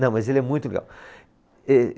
Não, mas ele é muito.